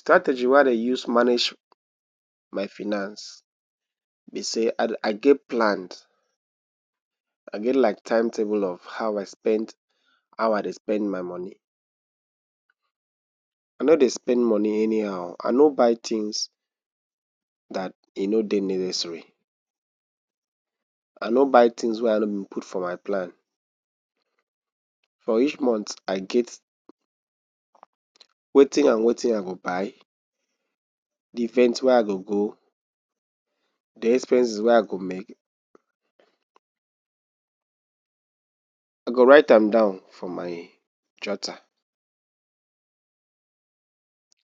Strategy wey I dey use manage my finance be say I get plans. I get like timetable of how I dey spend my moni. I no dey spend moni anyhow. I no dey write tins wey no dey necessary. I no dey buy tins wey I no put for my plans. I get wetin I go buy, di event wey I go go, di expenses wey I go make. I go write am down for my jotter.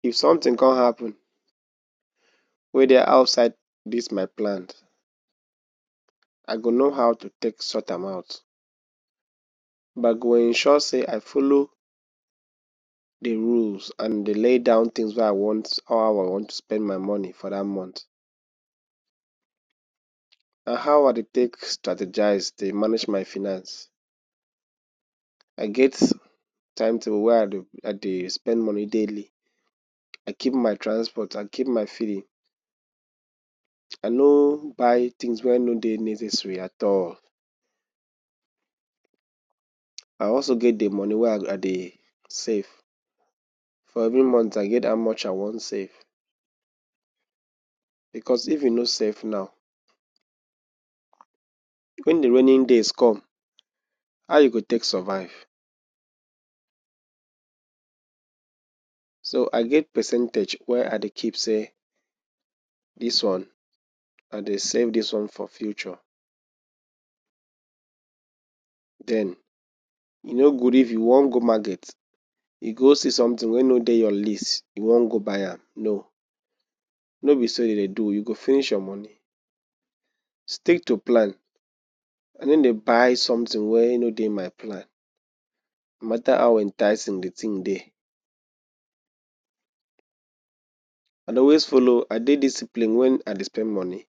If somtin come happun wey dey outside dis my plan, I go know how to take sort am out, but I go ensure say I follow di rules and di lay down tins of how I wan spend my moni for dat month. And how I dey take strategise manage my finance, I get timetable wey I dey spend moni daily. I keep my transport, I keep my feeding. I no buy tins wey no dey necessary at all. I also get di moni wey I dey save for every month. I get how much I wan save. Bicos if you no save now, wen di rainy days come, how you go take survive? So I get percentage wey I dey keep say this one I dey save, this one for future. E no good if you wan go market, you go see somtin wey no dey your list, you wan go buy am. No, no be so dem dey do. You go finish your moni. I dey stick to plan. I no dey buy somtin wey no dey my plan, no mata how enticing di tin dey. I dey always follow, I dey discipline wen I dey spend moni.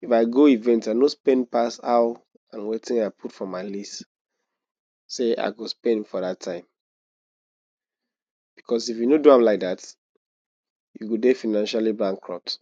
If I go event, I no even spend pass wetin I put for my list say I go spend for dat time. Bicos if you no do am like dat, you go dey financially bankrupt.